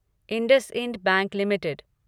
IndusInd bank limited